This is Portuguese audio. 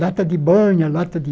Lata de banha, lata de...